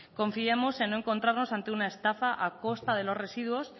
confiemos en no encontrarnos ante una estafa a costa de los residuos